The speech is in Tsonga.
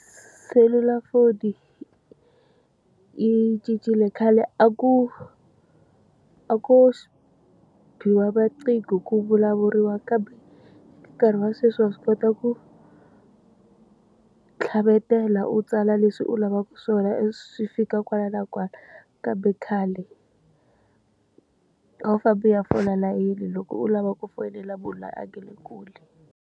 Selulafoni yi cincile khale a ku a ku biwa manqingho ku vulavuriwa kambe nkarhi wa sweswi wa swi kota ku tlhavetela u tsala leswi u lavaka swona ivi swi fika kwala na kwala. Kambe khale a wu famba u ya fola layeni loko u lava ku fonela munhu loyi a nga le kule.